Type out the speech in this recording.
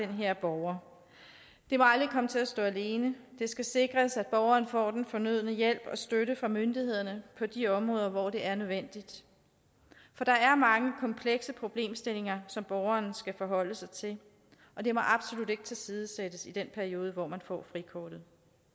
den her borger det må aldrig komme til at stå alene det skal sikres at borgeren får den fornødne hjælp og støtte fra myndighederne på de områder hvor det er nødvendigt for der er mange komplekse problemstillinger som borgeren skal forholde sig til og det må absolut ikke tilsidesættes i den periode hvor man får frikortet